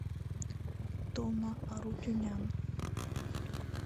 тома арутюнян